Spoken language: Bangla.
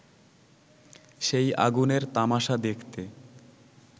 সেই আগুনের তামাশা দেখতে